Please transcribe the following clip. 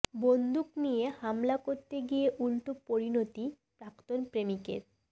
বন্দুক নিয়ে হামলা করতে গিয়ে উলটো পরিণতি প্রাক্তন প্রেমিকের